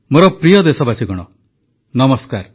ମୋର ପ୍ରିୟ ଦେଶବାସୀଗଣ ନମସ୍କାର